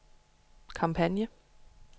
kampagne